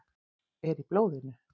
Er í blóðinu.